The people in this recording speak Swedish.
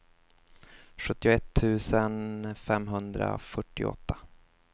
sjuttioett tusen femhundrafyrtioåtta